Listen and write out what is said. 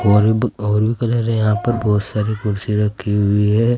और और भी कलर है यहां पर बहुत सारी कुर्सी रखी हुई है।